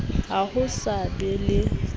ha ho sa be le